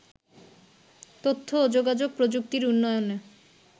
তথ্য ও যোগাযোগ প্রযুক্তির উন্নয়নে